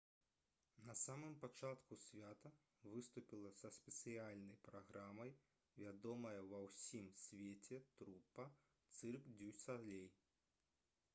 на самым пачатку свята выступіла са спецыяльнай праграмай вядомая ва ўсім свеце трупа «цырк дзю салей»